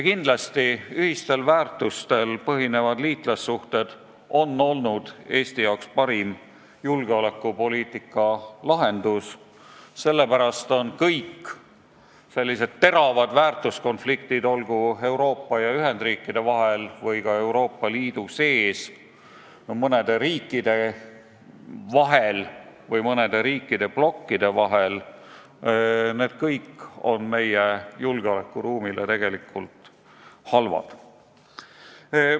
Kindlasti on ühistel väärtustel põhinevad liitlassuhted olnud Eesti jaoks parim julgeolekupoliitika garantii ja sellepärast on kõik sellised teravad väärtuskonfliktid, olgu Euroopa ja Ühendriikide vahel või ka Euroopa Liidu sees mõnede riikide vahel või mõnede riikide blokkide vahel, meie julgeolekuruumile halvasti mõjunud.